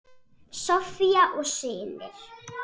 Soffía og synir.